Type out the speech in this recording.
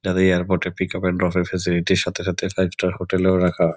যাদের এয়ারপোর্ট -এ pick up and drop -এর ফেসিলিটি সাথে সাথে ফাইভ স্টার হোটেল -এও রাখা।